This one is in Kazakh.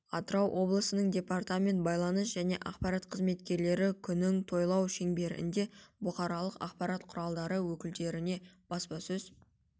атырау облысының департамент байланыс және ақпарат қызметкерлері күнің тойлар шеңберінде бұқаралық ақпарат құралдары өкілдеріне баспасөз